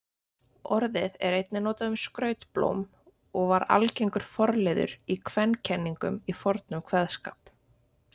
Orðið er einnig notað um skrautblóm og var algengur forliður í kvenkenningum í fornum kveðskap.